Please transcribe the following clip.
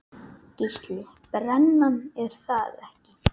Gísli:. brennan er það ekki?